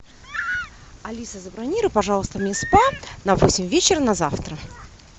алиса забронируй пожалуйста мне спа на восемь вечера на завтра